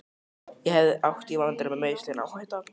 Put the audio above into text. Ég hef átt í vandræðum með meiðsli, en áhætta?